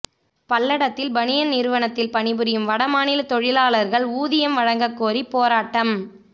பல்லடத்தில் பனியன் நிறுவனத்தில் பணிபுரியும் வடமாநில தொழிலாளர்கள் ஊதியம் வழங்கக் கோரி போராட்டம்